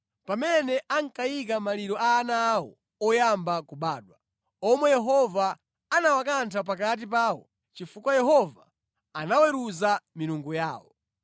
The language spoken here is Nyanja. pamene ankayika maliro a ana awo oyamba kubadwa, omwe Yehova anawakantha pakati pawo chifukwa Yehova anaweruza milungu yawo.